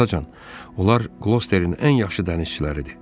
Atacan, onlar qlosterin ən yaxşı dənizçiləridir.